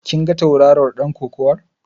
Kin ga tauraron ɗan kokawar?